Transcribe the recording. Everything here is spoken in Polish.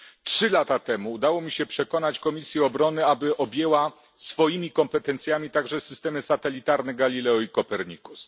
Trzy lata temu udało mi się przekonać Podkomisję Bezpieczeństwa i Obrony, aby objęła swoimi kompetencjami także systemy satelitarne Galileo i Copernicus.